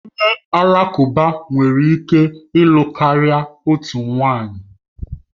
Onye Alakụba nwere ike ịlụ karịa otu nwunye